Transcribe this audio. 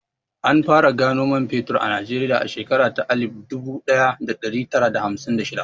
An fara gano man fetur a Najeriya a shekarar alif dubu ɗaya da ɗari tara da hamsin da shida.